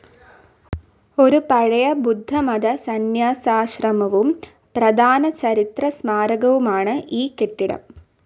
ഒരു പഴയ ബുദ്ധമത സന്യാസാശ്രമവും പ്രധാന ചരിത്ര സ്മാരകവുമാണ് ഈ കെട്ടിടം.